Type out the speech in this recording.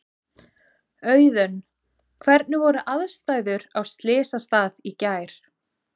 Auðunn, hvernig voru aðstæður á slysstað í gær?